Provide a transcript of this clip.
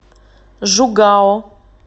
жугао